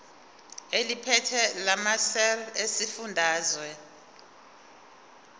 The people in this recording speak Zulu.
eliphethe lamarcl esifundazwe